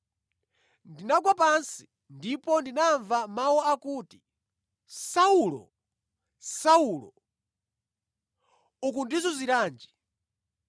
Ndinagwa pansi ndipo ndinamva mawu akuti, ‘Saulo! Saulo! Ukundizunziranji?’ ”